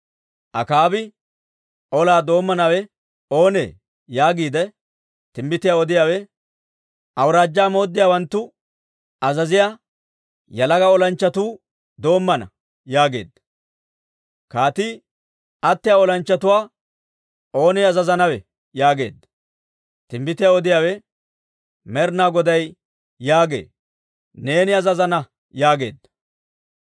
Akaabi, «Olaa doommanawe oonee?» yaageedda. Timbbitiyaa odiyaawe, «Awuraajjaa mooddiyaawanttu azaziyaa yalaga olanchchatuu doommana» yaageedda. Kaatii, «Attiyaa olanchchatuwaa oonee azazanawe?» yaageedda. Timbbitiyaa odiyaawe, Med'inaa Goday yaagee; «Neeni azazana» yaageedda.